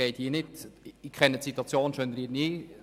Ich kenne die Situation in Schönried nicht.